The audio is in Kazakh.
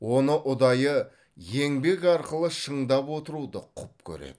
оны ұдайы еңбек арқылы шыңдап отыруды құп көреді